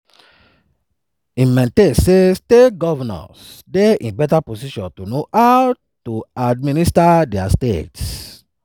e maintain say state govnors dey in beta position to know how to administer dia states.